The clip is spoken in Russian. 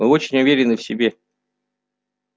вы очень уверены в себе